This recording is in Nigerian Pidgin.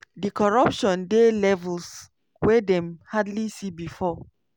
"di corruption dey levels wey dem hardly see before.